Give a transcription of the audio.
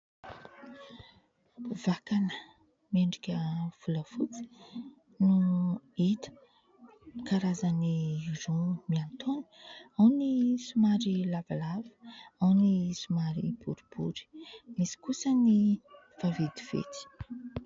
Vakana miendrika volafotsy no hita. Karazany roa miantaona, ao ny somary lavalava, ao ny somary boribory, misy kosa ny vaventiventy.